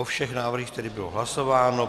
O všech návrzích tedy bylo hlasováno.